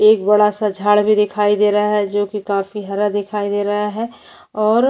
एक बड़ा सा झाड़ भी दिखाई दे रहा है जोकि काफी हरा दिखाई दे रहा है और --